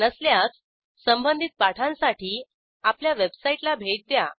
नसल्यास संबधित पाठांसाठी आपल्या वेबसाईटला भेट द्या